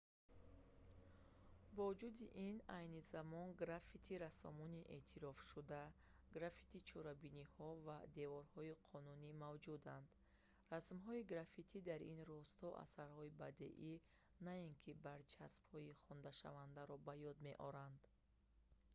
бо вуҷуди ин айни замон граффити-рассомони эътирофшуда граффити-чорабиниҳо ва деворҳои қонунӣ мавҷуданд расмҳои граффити дар ин росто асарҳои бадеӣ на ин ки барчаспҳои хонданашавандаро ба ёд меоранд